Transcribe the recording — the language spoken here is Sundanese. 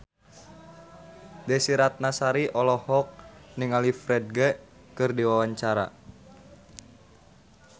Desy Ratnasari olohok ningali Ferdge keur diwawancara